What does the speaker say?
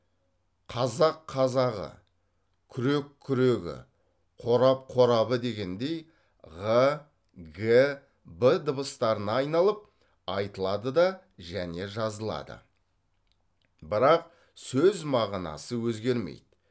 қазақ қазағы күрек күрегі қорап қорабы дегендей ғ г б дыбыстарына айналып айтылады да және жазылады бірақ сөз мағынасы өзгермейді